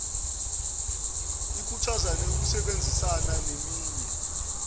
ikhuthaze ukusebenzisana neminye